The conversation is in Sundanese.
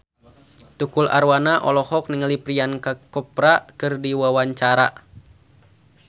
Tukul Arwana olohok ningali Priyanka Chopra keur diwawancara